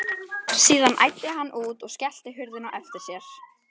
Síðan æddi hann út og skellti hurðinni á eftir sér.